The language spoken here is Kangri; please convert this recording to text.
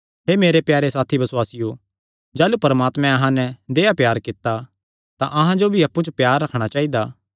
हे मेरे प्यारे साथी बसुआसियो जाह़लू परमात्मैं अहां नैं देहया प्यार कित्ता तां अहां जो भी अप्पु च प्यार रखणा चाइदा